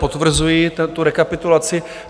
Potvrzuji tu rekapitulaci.